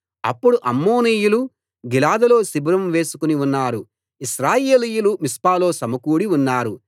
అప్పుడు అమ్మోనీయులు గిలాదులో శిబిరం వేసుకుని ఉన్నారు ఇశ్రాయేలీయులు మిస్పాలో సమకూడి ఉన్నారు